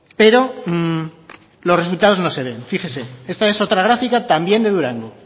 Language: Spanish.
pero los resultados no se ven fíjese esta es otra gráfica también de durango